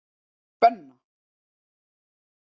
Benna